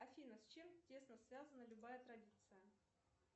афина с чем тесно связана любая традиция